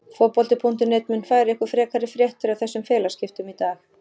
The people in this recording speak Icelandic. Fótbolti.net mun færa ykkur frekari fréttir af þessum félagaskiptum í dag.